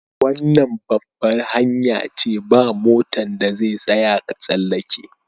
Wannan babbar hanya ce, ba' motan da zai tsaya ka tsallake.